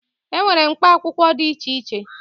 E nwere mkpa akwụkwọ dị iche iche.